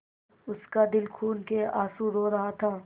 उसका दिल खून केआँसू रो रहा था